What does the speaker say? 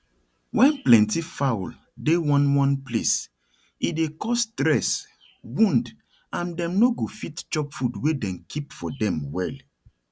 when plenty fowl dey one one place e dey cause stress wound and dem no go fit chop food wey dem keep for dem well